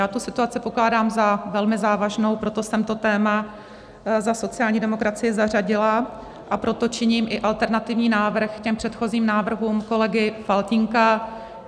Já tu situaci pokládám za velmi závažnou, proto jsem to téma za sociální demokracii zařadila a proto činím i alternativní návrh k předchozím návrhům kolegy Faltýnka.